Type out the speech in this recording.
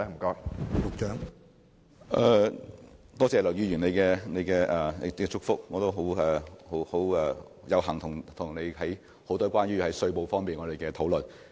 多謝梁議員的祝福，我亦有幸曾與他進行很多有關稅務方面的討論。